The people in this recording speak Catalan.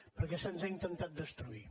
perquè se’ns ha intentat destruir